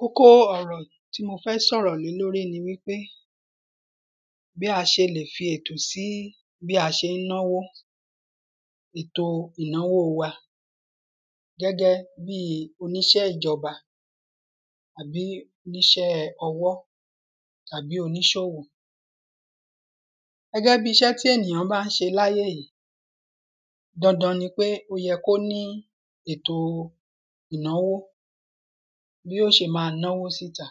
Kókó ọrọ̀ tí mo fẹ́ sọ̀rọ̀ lé lórí nipé bí a ṣe le fètò sí bí a ṣe ń náwó ètò ìnáwó wa gẹ́gẹ́ bí oníṣẹ́ ìjọba tàbí oníṣẹ́ ọwọ́ tàbí oníṣòwò. Gẹ́gẹ́ bí iṣẹ́ tí ènìyàn bá ń ṣe láyé yìí dandan nipé ó yẹ kó ní ètò ìnàwó bí ó ṣe má náwó síta.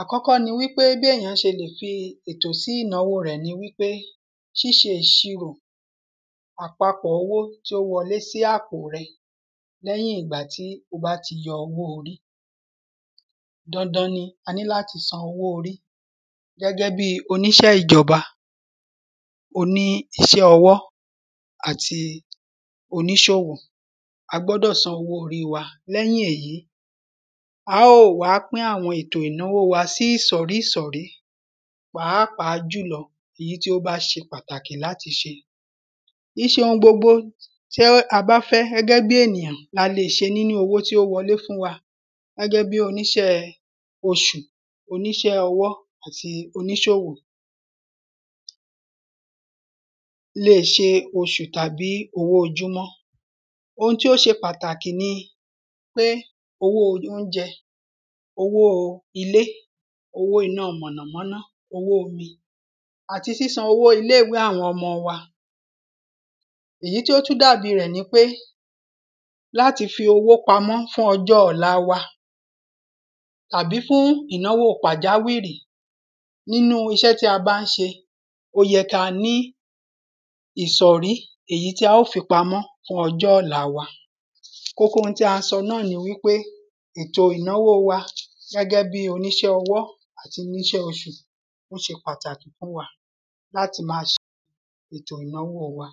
Àkọ́kọ́ ni wípé bí ènìyàn ṣe le fi ètò sí ìnáwó rẹ̀ ni wípé ṣíṣe ìṣirò àpapọ̀ owó tí ó wọlé sí àpò rẹ lẹ́yìn ìgbà tí o bá ti yọ owó orí. Dandan ni a ní láti san owó orí gẹ́gẹ́ bí oníṣẹ́ ìjọba oní iṣẹ́ owó àti oníṣowò a gbọ́dọ̀ san owó orí wa lẹ́yìn èyí á ó wá pín àwọn ètò ìnáwó wa sí ìsọ̀rí ìsọ̀rí pàápàá jùlọ èyí tí ó bá ṣe pàtàkì láti ṣe. Kìí ṣe ohun gbogbo tí a bá fẹ́ gẹ́gẹ́ bí ènìyàn la le ṣe nínú owó tí ó wọlé fún wa gẹ́gẹ́ bí oníṣẹ́ oṣù oníṣẹ́ owó àti oníṣowò le ṣe oṣù tàbí ojúmọ́. Ohun tó ṣe pàtàkì ni pé owó óúnjẹ owó ilé owó iná mọ̀nàmọ́ná owó omi àti sísan owó ilé ìwé àwọn ọmọ wa. Èyí tí ó tún dàbí rẹ̀ ni wípé láti fi owó pamọ́ fún ọjọ́ ọ̀la wa tàbí fún ìnáwó pàjáwìrì nínú iṣẹ́ tí a bá ń ṣe ó yẹ kí a ní ìsọ̀rí èyí tí á fi pamọ́ fún ọjọ́ ọ̀la wa. Kókó ohun tí a sọ náà ni wípé ètò ìnáwó wa gẹ́gẹ́ bí oníṣẹ́ ọwọ́ àtoníṣẹ́ oṣù ó ṣe pàtàkì fún wa láti má ṣe ètò ìnáwó wa.